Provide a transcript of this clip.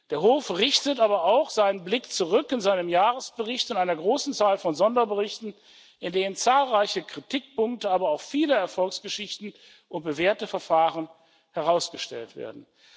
Der Hof richtet aber auch seinen Blick zurück in seinem Jahresbericht und einer großen Zahl von Sonderberichten, in denen zahlreiche Kritikpunkte, aber auch viele Erfolgsgeschichten und bewährte Verfahren herausgestellt werden.